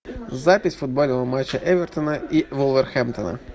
запись футбольного матча эвертона и вулверхэмптона